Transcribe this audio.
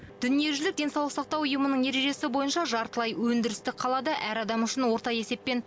дүниежүзілік денсаулық сақтау ұйымының ережесі бойынша жартылай өндірістік қалада әр адам үшін орта есеппен